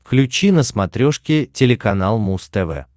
включи на смотрешке телеканал муз тв